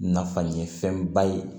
Nafan ye fɛnba ye